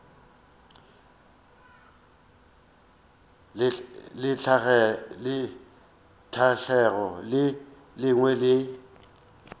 le tlhahlo le lengwe le